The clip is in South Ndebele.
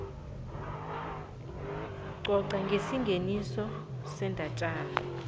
coca ngesingeniso sendatjana